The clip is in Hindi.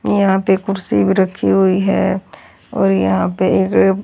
यहां पे कुर्सी भी रखी हुई है और यहां पे एक--